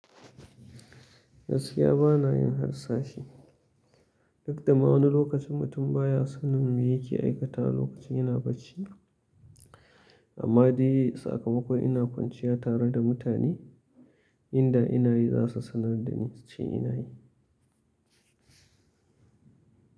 Gaskiya bana yin harsashi, duk da ma wani lokacin mutum baya sanin me yake aikata lokacin yana bacci. Amma dai sakamakon ina kwanciya tare da mutane, inda ina yi za su sanar da suce ina yi.